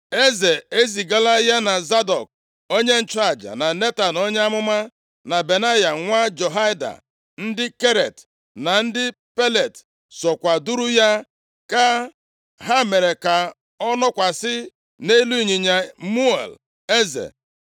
Eze e zigala ya na Zadọk onye nchụaja, na Netan onye amụma, na Benaya nwa Jehoiada, ndị Keret na ndị Pelet sokwa duru ya gaa. Ha mere ka ọ nọkwasị nʼelu ịnyịnya muul eze.